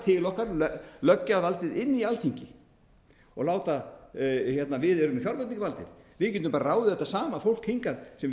til okkar löggjafarvaldið inn í alþingi við erum fjárveitingavaldið við getum ráðið þetta sama fólk hingað sem